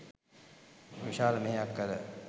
විශාල මෙහෙයක් කළ